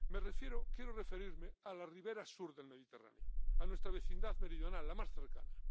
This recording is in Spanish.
Quiero referirme a la ribera sur del Mediterráneo, a nuestra vecindad meridional, la más cercana.